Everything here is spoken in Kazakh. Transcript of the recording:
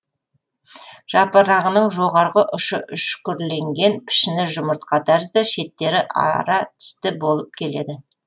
жапырағының жоғарғы ұшы үшкірленген пішіні жұмыртқа тәрізді шеттері ара тісті болып келеді